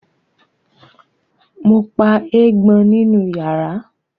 Mo pa eégbọn nínú yàrá